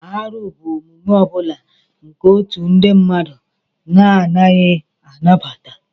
Árụ bụ omume ọ bụla nke otu ndị mmadụ na-anaghị anabata